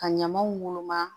Ka ɲamaw woloma